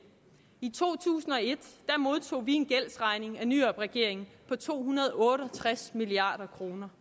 i to tusind og et modtog vi en gældsregning af nyrup regeringen på to hundrede og otte og tres milliard kroner